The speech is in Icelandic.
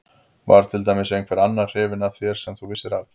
Var til dæmis einhver annar hrifinn af þér sem þú vissir af?